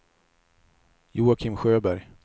Joakim Sjöberg